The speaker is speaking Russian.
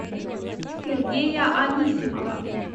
сергея анисимова